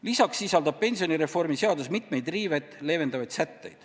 Lisaks sisaldab pensionireformi seadus mitmeid riivet leevendavaid sätteid.